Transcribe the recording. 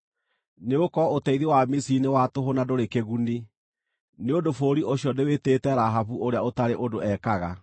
Nĩgũkorwo ũteithio wa Misiri nĩ wa tũhũ na ndũrĩ kĩguni. Nĩ ũndũ bũrũri ũcio ndĩwĩtĩte Rahabu ũrĩa Ũtarĩ-ũndũ-Ekaga.